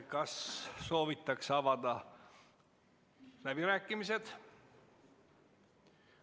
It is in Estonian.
Kas soovitakse avada läbirääkimised?